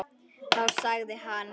Þá sagði hann.